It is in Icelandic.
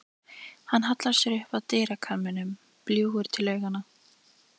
Hann hallar sér upp að dyrakarminum, bljúgur til augnanna.